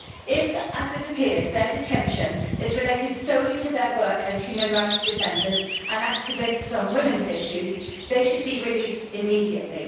If, as it appears, their detention is related solely to their work as human rights defenders and activists on women's issues, they should be released immediately.